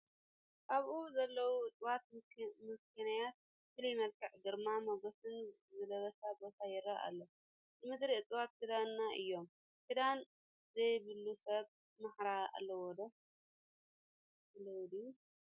ኣብኡ ብዘለዉ እፅዋት ምኽንያ ፍሉይ መልክዕን ግርማ ሞገስን ዝለበሰ ቦታ ይርአ ኣሎ፡፡ ንምድሪ እፅዋት ክዳና እዮም፡፡ ክዳን ዘይብሉ ሰብ ማሕራ ኣለዎ ድዩ?